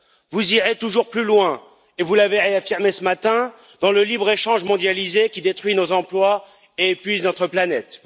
Vous irez toujours plus loin, et vous l'avez réaffirmé ce matin, dans le libre échange mondialisé qui détruit nos emplois et épuise notre planète.